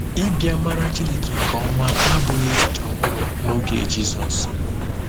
Ịbịa mara Chineke nke ọma abụghị echiche ọhụrụ n’oge Jizọs.